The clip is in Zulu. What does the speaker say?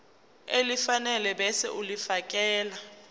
elifanele ebese ulifiakela